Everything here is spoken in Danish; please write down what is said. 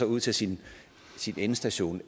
ud til sin endestation